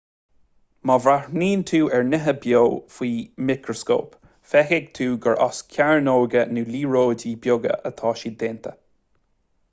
má bhreathnaíonn tú ar nithe beo faoi mhicreascóp feicfidh tú gur as cearnóga nó liathróidí beaga atá siad déanta